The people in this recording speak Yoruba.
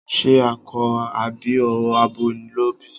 Ṣe akọ àbí abo ló bí?